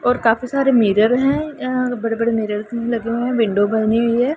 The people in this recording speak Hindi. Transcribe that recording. और काफी सारे मिरर हैं यहां बड़े-बड़े मिरर लगे हुएं हैं विंडो बनी हुई हैं।